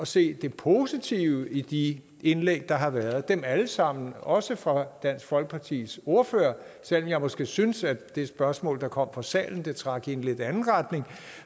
se det positive i de indlæg der har været dem alle sammen også det fra dansk folkepartis ordfører selv om jeg måske synes at det spørgsmål der kom fra salen trak i en lidt anden retning